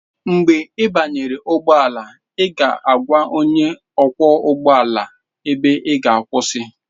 Mgbe ị banyere ụgbọ ala, ị ga-agwa onye ọkwọ ụgbọ ala ebe ị ga akwụsị.